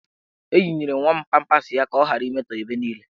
Eyinyere m nwa m pampas ya ka ọ ghara imetọ ebe niile.